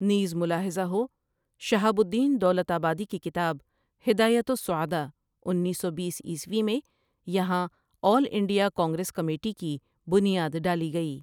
نیز ملاحظہ ہو شہاب الدین دولت آبادی کی کتاب ہدایت السعداء انیس سو بیس عیسوی میں یہاں آل انڈیا کانگریس کمیٹی کی بنیاد ڈالی گئی ۔